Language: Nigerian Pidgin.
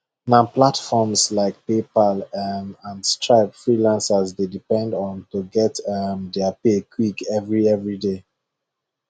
na platforms like paypal um and stripe freelancers dey depend on to get um their pay quick every every day